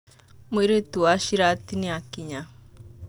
Mũirĩtu wa Shirati nĩ akinya